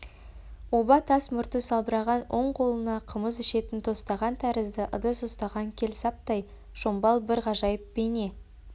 оба тас мұрты салбыраған оң қолына қымыз ішетін тостаған тәрізді ыдыс ұстаған келсаптай шомбал бір ғажайып бейне